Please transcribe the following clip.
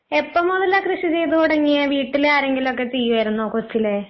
എപ്പോ മുതലാ കൃഷി ചെയ്ത് തൊടങ്ങിയെ വീട്ടില് ആരെങ്കിലൊക്കെ ചെയ്യുവായിരുന്നോ കൊച്ചിലെ?